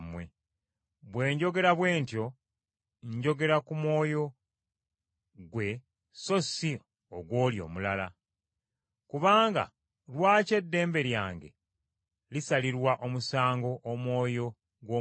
bwe njogera bwe ntyo, njogera ku mwoyo gwe so si ogw’oli omulala. Kubanga lwaki eddembe lyange lisalirwa omusango omwoyo gw’omulala?